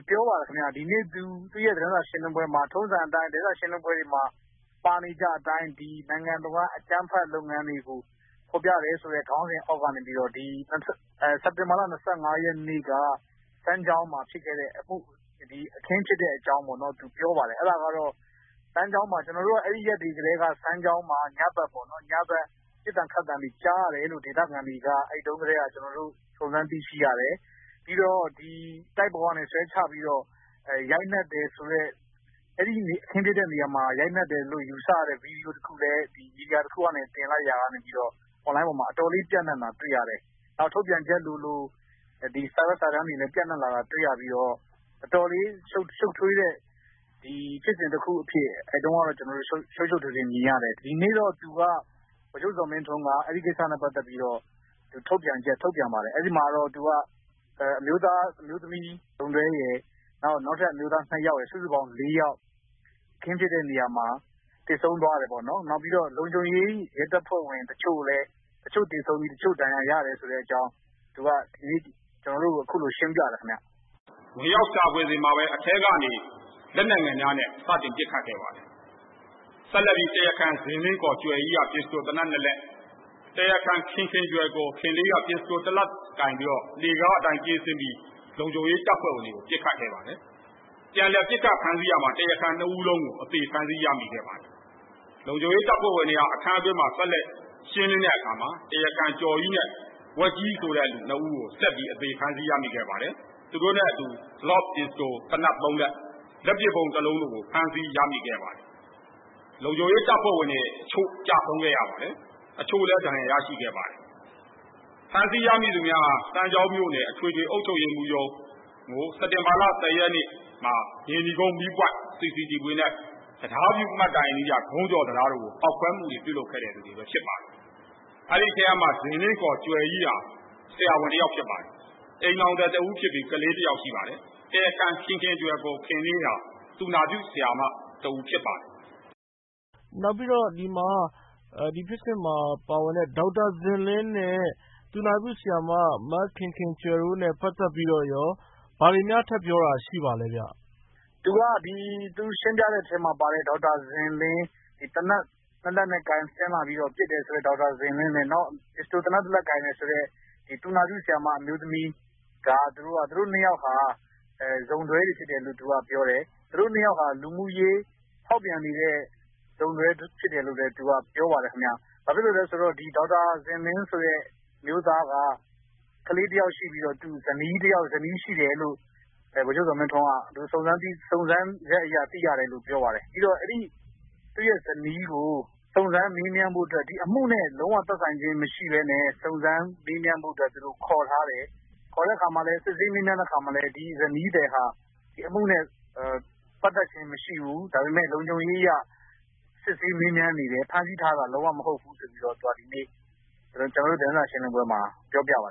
“ပြောပါတယ်ခင်ဗျ။ ဒီနေ့ ပြီးခဲ့တဲ့သတင်းစာရှင်းလင်းပွဲမှာ ထုံးစံအတိုင်း သတင်းစာရှင်းလင်းပွဲတွေမှာ ပါနေကျအတိုင်း “နိုင်ငံတဝန်း အကြမ်းဖက်လုပ်ငန်းတွေကို ဖော်ပြတယ်" ဆိုတဲ့ခေါင်းစဉ်အောက်ကနေ စက်တင်ဘာလ ၂၅ ရက်နေ့က စမ်းချောင်းမှာဖြစ်ခဲ့တဲ့အမှု၊ အခင်းဖြစ်တဲ့အကြောင်းပေါ့နော်၊ သူ ပြောပါတယ်။ အဲဒါကတော့ အဲဒီရက်တွေကတည်းက စမ်းချောင်းမှာ ညဘက်ပေါ့နော်၊ ပစ်သံခတ်သံတွေကြားရတယ်လို့ ဒေသခံတွေက အဲဒီတုန်းကတည်းက ကျနော်တို့ စုံစမ်းသိရှိရတယ်၊ ပြီးတော့ တိုက်ပေါ်ကနေဆွဲချပြီးတော့ ရိုက်နှက်တယ်ဆိုတဲ့၊ အဲဒီအခင်းဖြစ်တဲ့နေရာမှာ ရိုက်နှက်တယ်လို့ ယူဆရတဲ့ ဗွီဒီယိုတခုလည်း မီဒီယာတခုကနေ တင်လိုက်တာကနေပြီးတော့ အွန်လိုင်းပေါ်မှာ အတော်လေး ပျံ့နှံ့တာတွေ့ရတယ်။ ထုတ်ပြန်ချက်လိုလို စာရွက်စာတမ်းတွေလည်း ပျံ့နံှ့လာတာတွေ့ရပြီးတော့ အတော်လေးရှုပ်ထွေးတဲ့ ဖြစ်စဉ်တခုအဖြစ် အဲဒီတုန်းကတော့ ကျနော်တို့ ရှုပ်ရှုပ်ထွေးထွေး မြင်ရတယ်။ ဒီနေ့တော့ ဗိုလ်ချုပ်ဇော်မင်းထွန်းက အဲဒီကိစ္စနဲ့ပတ်သက်ပြီး ထုတ်ပြန်ချက် ထုတ်ပြန်ပါတယ်။ အဲဒီမှာတော့ သူက “အမျိုးသား၊ အမျိုးသမီး စုံတွဲရယ်၊ နောက်ထပ်အမျိုးသားနှစ်ယောက်ရယ်၊ စုစုပေါင်း ၄ ယောက်၊ အခင်းဖြစ်တဲ့နေရာမှာ သေဆုံးသွားတယ်ပေါ့နော်။ နောက်ပြီးတော့ လုံခြုံရေး ရဲတပ်ဖွဲဝင်တချို့လည်း သေဆုံးပြီး တချို့ဒဏ်ရာရတယ်” ဆိုတဲ့အကြောင်း သူက ကျနော်တို့ကို အခုလို ရှင်းပြတယ်ခင်ဗျ။ “ဝင်ရောက်ရှာဖွေစဉ်မှာပဲ အထဲကနေ လက်နက်ငယ်များနဲ့ စတင်ပစ်ခတ်ခဲ့ပါတယ်။ ဆက်လက်ပြီး တရားခံ ဇင်လင်းခေါ် ကြွယ်ကြီးက ပစ္စတိုသေနတ်နှစ်လက်၊ တရားခံ ခင်ခင်ကြွယ် ခေါ် ခင်လေးက ပစ္စတိုတလက်ကိုင်ပြီးတော့ လှေကားအတိုင်း ပြေးဆင်းပြီး လုံခြုံရေးတပ်ဖွဲ့ဝင်တွေကို ပစ်ခတ်ခဲ့ပါတယ်။ ပြန်လည်ပစ်ခတ်ဖမ်းဆီးရာမှာ တရားခံနှစ်ဦးလုံးကို အသေ ဖမ်းဆီးရမိခဲ့ပါတယ်။ လုံခြုံရေးတပ်ဖွဲ့ဝင်တွေဟာ အခန်းတွင်းမှာ ဆက်လက်ရှင်းလင်းတဲ့အခါမှာ တရားခံ ကျော်ကြီးနဲ့ ဝက်ကြီးဆိုတဲ့သူနှစ်ဦးကို ဆက်ပြီး အသေဖမ်းဆီးရမိခဲ့ပါတယ်။ သူတို့နဲ့အတူ Glock ပစ္စတိုသေနတ်သုံးလက်၊ လက်ပစ်ဗုံးနှစ်လုံးတို့ကို ဖမ်းဆီးရမိခဲ့ပါတယ်။ "လုံခြုံရေးတပ်ဖွဲ့ဝင်တွေ တချို့ ကျဆုံးခဲ့ရပါတယ်။ အချို့လည်း ဒဏ်ရာရရှိခဲ့ပါတယ်။ ဖမ်းဆီးရမိသူများဟာ စမ်းချောင်းမြို့နယ် အထွေထွေ အုပ်ချုပ်ရေးမှူးရုံးကို စက်တင်ဘာလ ၁၀ ရက်နေ့မှာ မြေနီကုန်း မီးပွိုင့် CCTV နဲ့ တံတားဖြူမှတ်တိုင်အနီးက ဂုံးကျော်တံတားတို့ကို ဖောက်ခွဲမှုတွေ ပြုလုပ်ခဲ့တဲ့သူတွေပဲ ဖြစ်ပါတယ်။ အဲဒီအထဲကမှ ဇင်လင်း ခေါ် ကြွယ်ကြီးဟာ ဆရာဝန်တယောက်ဖြစ်ပါတယ်။ အိမ်ထောင်သည်တဦးဖြစ်ပြီး ကလေးတယောက် ရှိပါတယ်။ တရားခံ ခင်ခင်ကြွယ် ခေါ် ခင်လေးဟာ သူနာပြုဆရာမတဦး ဖြစ်ပါတယ်။” ကိုရန်နိုင်။ ။ နောက်ပြီးတော့ ဒီမှာ ဒီဖြစ်စဉ်မှာပါတဲ့ ဒေါက်တာဇင်လင်းနဲ့ သူနာပြုဆရာမ မခင်ခင်ကြွယ်တို့နဲ့ ပတ်သက်ပြီးတော့ရော ဘာတွေများ ထပ်ပြောတာ ရှိပါလဲဗျ။ ကိုစည်သူနိုင်။။ သူရှင်းပြတဲ့ထဲမှာပါတဲ့ ဒေါက်တာဇင်လင်း၊ သေနတ်နှစ်လက်ကိုင် ဆင်းလာပြီးတော့ ပစ်တယ်ဆိုတဲ့ ဒေါက်တာဇင်လင်းနဲ့ နောက် သေနတ်တလက်ကိုင်တယ်ဆိုတဲ့ သူနာပြုဆရာမ အမျိုးသမီးက သူတို့နှစ်ယောက်ဟာ စုံတွဲတွေဖြစ်တယ်လို့သူက ပြောတယ်။ သူတို့နှစ်ယောက်ဟာ လူမှုရေး ဖောက်ပြန်နေတဲ့ စုံတွဲဖြစ်တယ်လို့လည်း သူက ပြောပါတယ်ခင်ဗျ။ ဘာဖြစ်လို့လဲဆိုတော့ ဒေါက်တာဇင်လင်းဆိုတဲ့ အမျိုးသားက ကလေးတယောက်ရှိပြီးတော့ ဇနီးရှိတယ်လို့ ဗိုလ်ချုပ်ဇော်မင်းထွန်းက စုံစမ်းချက်အရ သိရတယ်လို့ ပြောပါတယ်။ ပြီးတော့ အဲဒီ့ဇနီးကို စုံစမ်းမေးမြန်းဖို့အတွက် အမှုနဲ့လုံးဝသက်ဆိုင်ခြင်းမရှိဘဲနဲ့ စုံစမ်းမေးမြန်းဖို့အတွက် သူတို့ ခေါ်ထားတယ်။ ခေါ်တဲ့အခါမှာလည်း စစ်ဆေးမေးမြန်းတဲ့အခါမှာလည်း ဒီဇနီးသည်ဟာ ဒီအမှုနဲ့ ပတ်သက်ခြင်းမရှိဘူး၊ ဒါပေမယ့် လုံခြုံရေးအရ စစ်ဆေးမေးမြန်းနေတယ်။ ဖမ်းဆီးထားတာ လုံးဝမဟုတ်ဘူးဆိုပြီးတော့ သူက ဒီနေ့ သတင်းစာရှင်းလင်းပွဲမှာ ပြောပြပါ